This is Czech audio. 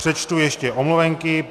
Přečtu ještě omluvenky.